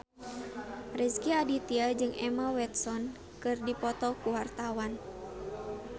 Rezky Aditya jeung Emma Watson keur dipoto ku wartawan